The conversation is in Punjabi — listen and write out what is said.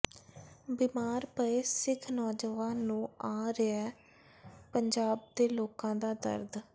ਬਿਮਾਰ ਪਏ ਸਿੱਖ ਨੌਜਵਾਨ ਨੂੰ ਆ ਰਿਹੈ ਪੰਜਾਬ ਦੇ ਲੋਕਾਂ ਦਾ ਦਰਦ